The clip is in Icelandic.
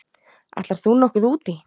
Ætlar þú nokkuð út í?